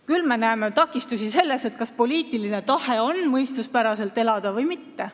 Küll peame küsima, kas poliitiline tahe ikka on mõistuspäraselt elada või mitte.